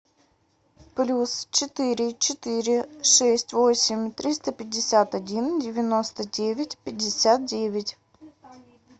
плюс четыре четыре шесть восемь триста пятьдесят один девяносто девять пятьдесят девять